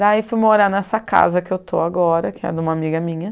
Daí fui morar nessa casa que eu estou agora, que é de uma amiga minha.